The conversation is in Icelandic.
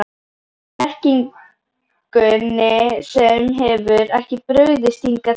Blekkingunni sem hefur ekki brugðist hingað til.